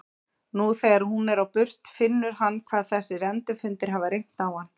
Nú þegar hún er á burt finnur hann hvað þessir endurfundir hafa reynt á hann.